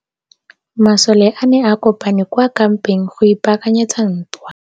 Masole a ne a kopane kwa kampeng go ipaakanyetsa ntwa.